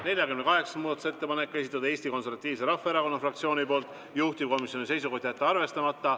48. muudatusettepaneku on esitanud Eesti Konservatiivse Rahvaerakonna fraktsioon, juhtivkomisjoni seisukoht on jätta see arvestamata.